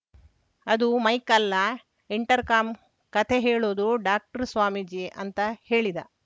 ಅದು ಮೈಕ್‌ ಅಲ್ಲ intercom ಕಥೆ ಹೇಳೋದು ಡಾಕ್ಟರ್‌ ಸ್ವಾಮೀಜಿ ಅಂತ ಹೇಳಿದ